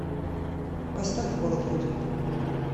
поставь холод уйдет